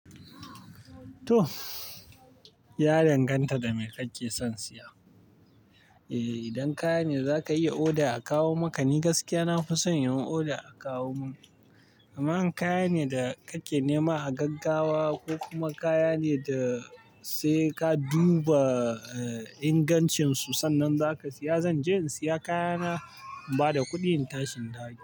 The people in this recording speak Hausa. To, ya danganta dame kake son siya. Eh, idan kaya ne zaka iya order a kawo maka ne. Ni gaskiya na fi son yin order a kawo mun. Amma in kaya ne da kake nema a gaggawa ko kuma kaya ne da sai ka duba ingancin su sannan zaka siya, zan je in siya kaya na in bada kuɗi in ta shi in dawo gida.